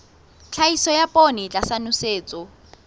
tlhahiso ya poone tlasa nosetso